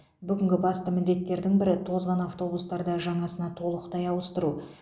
бүгінгі басты міндеттердің бірі тозған автобустарды жаңасына толықтай ауыстыру